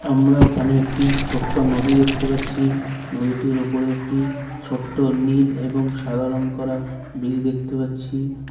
আমরা এখানে একটি ছোট্ট নদী দেখতে পাচ্ছি নদীটির উপর একটি ছোট্ট নীল এবং সাদা রং করা ব্রিজ দেখতে পাচ্ছি।